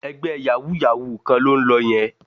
Ẹgbẹ́ yàwúú-yàwuù kan ló ń lọ yẹn